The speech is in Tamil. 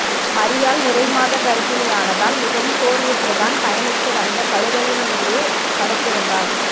மரியாள் நிறைமாதக் கர்பிணியானதால் மிகவும் சோர்வுற்று தான் பயணித்து வந்த கழுதையின் மீதே படுத்திர்ந்தாள்